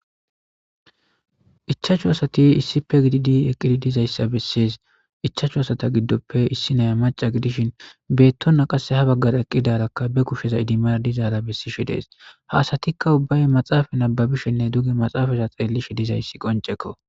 Ichaachchu asati issi pe gididi eqqidi dizayssa bessees ichaachu asata giddoppe issi naya maca gidishin beettonna qasse ha baggara eqqidarakka be kusheza idimar dizaara bessishe dees haasatikka ubbaye maxaafa nababishenne duge maxaafaza xeellishe dizayssi qoncekko